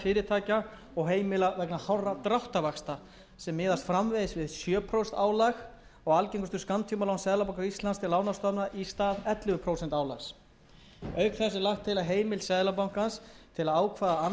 fyrirtækja og heimila vegna hárra dráttarvaxta sem miðast framvegis við sjö prósent álag á algengustu skammtímalán seðlabanka íslands til lánastofnana í stað ellefu prósent álags auk þess er lagt til að heimild seðlabankans til að ákveða annað